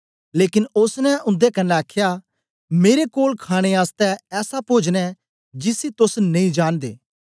लेकन ओसने उन्दे कन्ने आखया मेरे कोल खाणे आसतै ऐसा पोजन ऐ जिसी तोस नेई जांनदे